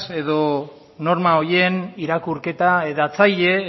edo norma horien irakurketa hedatzaile